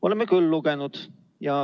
Oleme küll lugenud.